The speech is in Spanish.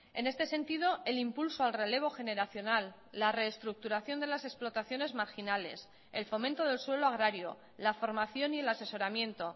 en este sentido el impulso al relevo generacional la reestructuración de las explotaciones marginales el fomento del suelo agrario la formación y el asesoramiento